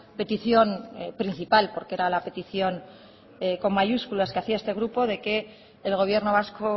petición principal porque era la petición con mayúsculas que hacía este grupo de que el gobierno vasco